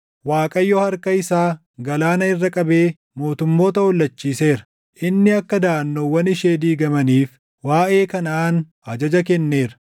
Waaqayyo harka isaa galaana irra qabee mootummoota hollachiiseera. Inni akka daʼannoowwan ishee diigamaniif waaʼee Kanaʼaan ajaja kenneera.